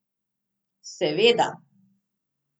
Seveda.